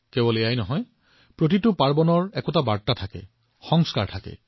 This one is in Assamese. কেৱল সেয়াই নহয় প্ৰতিটো উৎসৱত কিছু বাৰ্তা কিছুমান সংস্কাৰ আছে